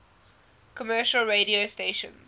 commercial radio stations